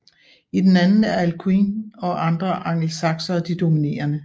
I den anden er Alcuin og andre angelsaksere de dominerende